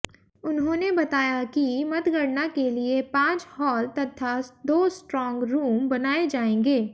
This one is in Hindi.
उन्होंने बताया कि मतगणना के लिये पांच हाॅल तथा दो स्ट्रांग रूम बनायें जाएंगे